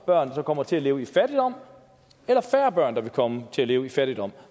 børn som kommer til at leve i fattigdom eller færre børn der vil komme til at leve i fattigdom